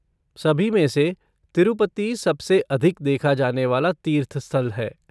सभी में से तिरूपति सबसे अधिक देखा जाने वाला तीर्थ स्थल है।